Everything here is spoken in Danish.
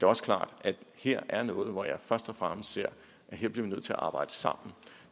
også klart at der her er noget hvor jeg først og fremmest ser at vi bliver nødt til at arbejde sammen